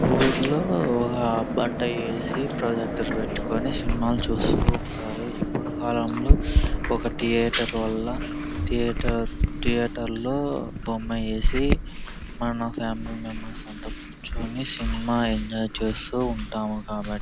ఊరులో ఆ బాట ఏసీ ప్రొజెక్టర్ పెట్టుకొని సినిమాలు చూస్తూ ఉంటారు. ఇప్పుడు కాలంలో ఒక థియేటర్ వల్ల థియేటర్ థియేటర్ లో బొమ్మ వేసి మన ఫ్యామిలీ మెంబెర్స్ అంతా కూర్చొని సినిమా ఎంజాయ్ చేస్తూ ఉంటాం కాబట్టి --